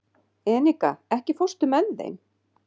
Enika, ekki fórstu með þeim?